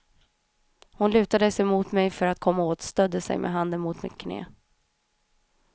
Hon lutade sig mot mig för att komma åt, stödde sig med handen mot mitt knä.